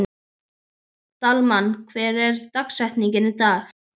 Dalmann, hver er dagsetningin í dag?